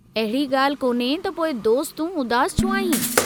अहिड़ी गाल्हि कोन्हे त पोइ दोस्त तूं उदासु छो आहीं।